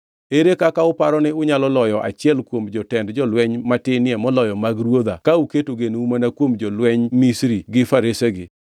Ere kaka uparo ni unyalo loyo achiel kuom jotend jolweny matinie moloyo mag ruodha ka uketo genou mana kuom jolwenj Misri gi faresegi?